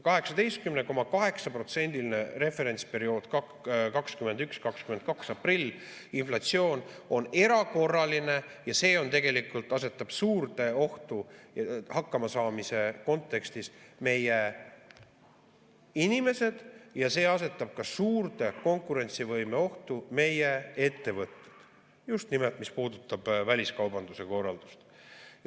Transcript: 18,8%-line inflatsioon, referentsperioodil 21.–22. aprill, on erakorraline ja see tegelikult asetab suurde ohtu hakkamasaamise kontekstis meie inimesed ja see asetab ka suurde konkurentsivõimeohtu meie ettevõtted, just nimelt, mis puudutab väliskaubanduse korraldust.